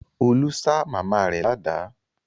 Olú ṣá màmá rẹ̀ ládàá.